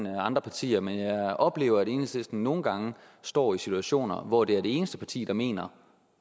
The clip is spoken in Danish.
end andre partier men jeg oplever at enhedslisten nogle gange står i situationer hvor det er det eneste parti der mener